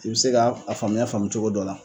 I bɛ se k'a faamuya faamuya cogo dɔ la.